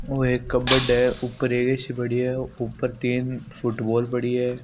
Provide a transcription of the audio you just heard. और एक कपबोर्ड है ऊपर ऐ_सी पड़ी है ऊपर तीन फुटबॉल पड़ी है।